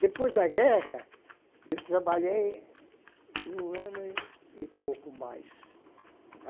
Depois da guerra, eu trabalhei um ano e pouco mais.